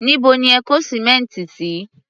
Níbo ni ẹ kó sìmẹ́ǹtì sí?